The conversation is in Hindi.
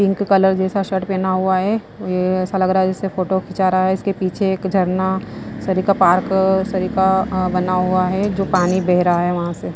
पिंक कलर जैसा शर्ट पहना हुआ है ये ऐसा लग रहा है जैसे फोटो खिंचा रहा है इसके पीछे एक झरना सड़ी का पार्क सरी का बना हुआ है जो पानी बह रहा है वहाँ से।